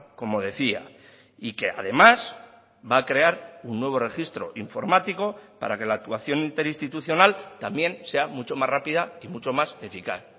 como decía y que además va a crear un nuevo registro informático para que la actuación interinstitucional también sea mucho más rápida y mucho más eficaz